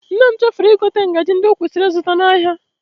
Nne m chefuru igote ngaji ndị o kwesịrị ịzụta n'ahịa